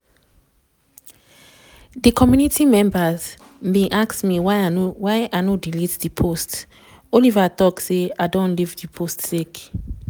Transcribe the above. di committee members bin ask am why im no delete di post oliver tok say "i don leave di post sake